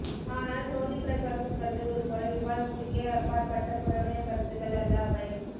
ஆனால் சோதிப்பிரகாசம் கருதுவதுபோல விவாதத்துக்கே அப்பாற்பட்ட புறவய கருத்துக்கள் அல்ல அவை